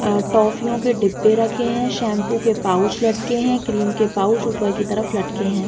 अ टॉफीओ के डिब्बे रखे हैं। शैम्पू के पाउच लटकें हैं। क्रीम के पाउच ऊपर की तरफ लटकें हैं।